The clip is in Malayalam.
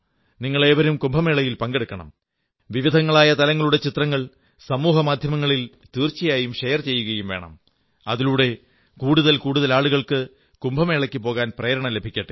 നിങ്ങളേവരും കുംഭമേളയിൽ പങ്കെടുക്കണം വിവിധങ്ങളായ തലങ്ങളുടെ ചിത്രങ്ങൾ സമൂഹമാധ്യമത്തിൽ തീർച്ചയായും ഷെയർ ചെയ്യുകയും വേണം അതിലൂടെ കൂടുതൽ കൂടുതൽ ആളുകൾക്ക് കുംഭമേളയ്ക്ക് പോകാൻ പ്രേരണ ലഭിക്കട്ടെ